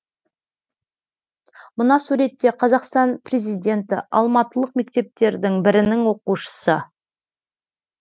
мына суретте қазақстан президенті алматылық мектептердің бірінің оқушысы